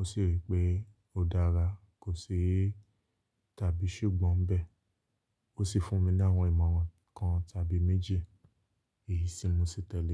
ó sì wí pé ó dára, kò ṣe é tàbí ṣùgbọ́n bẹ́ẹ̀. Ó sì fún mi ní àwọn ìmọ̀ràn kan tàbí méjì èyí sì mú mi tẹ̀lé.